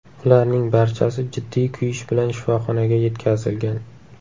Ularning barchasi jiddiy kuyish bilan shifoxonaga yetkazilgan.